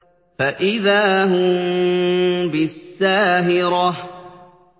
فَإِذَا هُم بِالسَّاهِرَةِ